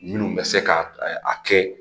Minnu bɛ se ka a kɛ